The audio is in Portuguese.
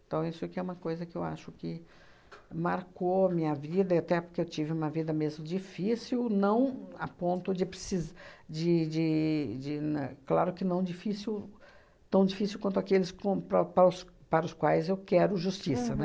Então, isso aqui é uma coisa que eu acho que marcou minha vida, e até porque eu tive uma vida mesmo difícil, não a ponto de precis de de de na... Claro que não difícil tão difícil quanto aqueles com para o para os para os quais eu quero justiça, né?